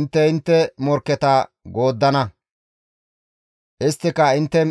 Intte intte morkketa gooddana; isttika intte